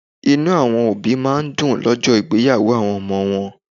Inú àwọn òbí máa ń dùn lójó ìgbéyàwó àwọn ọmọ wọn